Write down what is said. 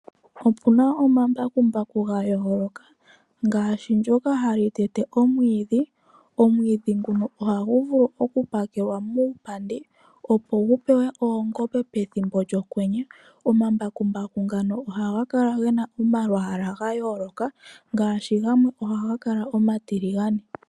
Opu na omambakumbaku ga yooloka ngaashi ndyoka hali tete omwiidhi. Omwiidhi nguka ohagu vulu okupakelwa muupandi, opo gu pewe oongombe pethimbo lyokwenye. Omambakumbaku ngano ohaga kala ge na omalwaala ga yooloka ngaashi gamwe ohaga kala omatiligane.